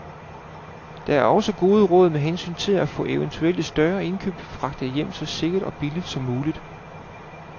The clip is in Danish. Der er også gode råd med hensyn til at få eventuelle større indkøb fragtet hjem så sikkert og billigt som muligt.